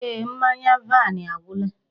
Eeh, mmanya vaini agwụla.